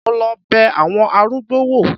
Mo lọ bẹ àwọn arúgbó wò.